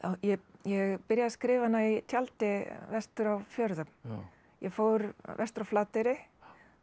ég byrjaði að skrifa hana í tjaldi vestur á fjörðum ég fór vestur á Flateyri þar